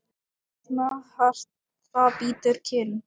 Býsna hart það bítur kinn.